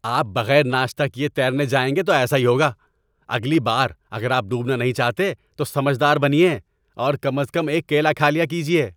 آپ بغیر ناشتہ کیے تیرنے جائیں گے تو ایسا ہی ہوگا۔ اگلی بار اگر آپ ڈوبنا نہیں چاہتے تو سمجھ دار بنیے اور کم از کم ایک کیلا کھا لیا کیجیے۔